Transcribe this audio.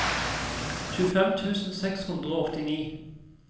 tjuefem tusen seks hundre og åttini